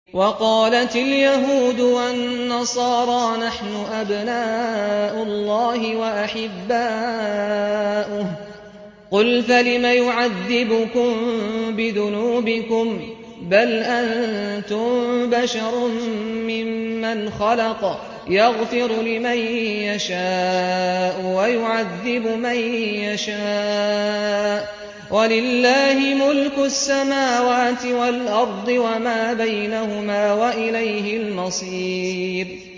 وَقَالَتِ الْيَهُودُ وَالنَّصَارَىٰ نَحْنُ أَبْنَاءُ اللَّهِ وَأَحِبَّاؤُهُ ۚ قُلْ فَلِمَ يُعَذِّبُكُم بِذُنُوبِكُم ۖ بَلْ أَنتُم بَشَرٌ مِّمَّنْ خَلَقَ ۚ يَغْفِرُ لِمَن يَشَاءُ وَيُعَذِّبُ مَن يَشَاءُ ۚ وَلِلَّهِ مُلْكُ السَّمَاوَاتِ وَالْأَرْضِ وَمَا بَيْنَهُمَا ۖ وَإِلَيْهِ الْمَصِيرُ